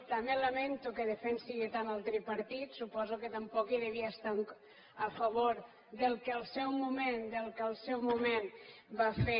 també lamento que defensi tant el tripartit suposo que tampoc devia estar a favor del que al seu moment va fer